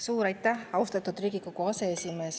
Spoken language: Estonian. Suur aitäh, austatud Riigikogu aseesimees!